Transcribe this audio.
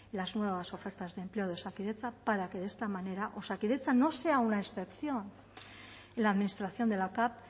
las nuevas ofertas de empleo de osakidetza para que de esta manera osakidetza no sea una excepción en la administración de la cav